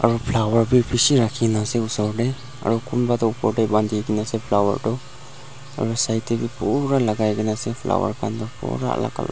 aro flower bi bishi rakhina ase osor tae aro kunba toh opor tae bandikaena ase flower tu aro side tae be pura lakai kae na ase flower khan toh pura alak colour --